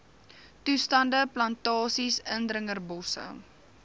toestande plantasies indringerbosse